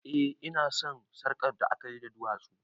Eh ina son sarƙar da akayi da duwatsu